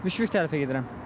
Müşfiq tərəfə gedirəm.